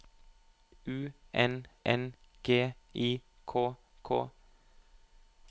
U N N G I K K